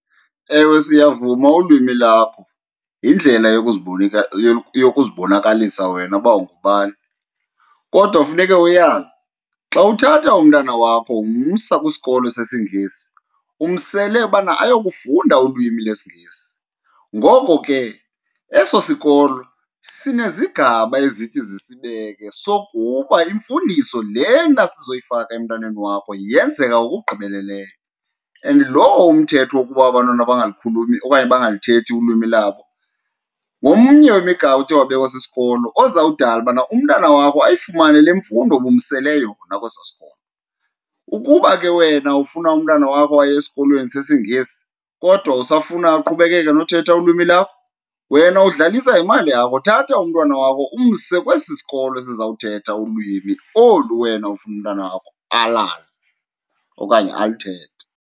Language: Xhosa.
Ewe, siyavuma ulwimi lakho yindlela yokuzibonakalisa wena uba ungubani, kodwa funeke uyazi xa uthatha umntana wakho umsa kwisikolo sesiNgesi umsele ubana ayokufunda ulwimi lesiNgesi. Ngoko ke, eso sikolo sinezigaba ezithi zisibeke sokuba imfundiso lena sizoyifaka emntaneni wakho yenzeka ngokugqibeleleyo and lowo umthetho wokuba abantwana bangalikhulumi okanye bangalithethi ulwimi labo ngomnye wemigaqo othe wabekwa sisikolo ozawudala ubana umntana wakho ayifumane le mfundo ubumsele yona kwesaa sikolo. Ukuba ke wena ufuna umntana wakho aye esikolweni sesiNgesi kodwa usafuna aqhubekeke nothetha ulwimi lakho wena udlalisa ngemali yakho, thatha umntwana wakho umse kwesi sikolo sizawuthetha ulwimi olu wena ufuna umntana wakho alazi okanye aluthethe.